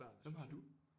Hvem har du